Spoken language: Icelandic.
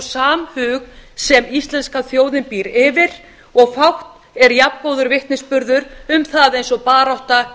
samhug sem íslenska þjóðin býr yfir og fátt er jafngóður vitnisburður um það og barátta